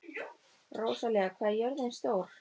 Rósalía, hvað er jörðin stór?